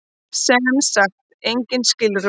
Sem sagt engin skilrúm.